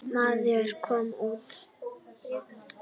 Maður kom út.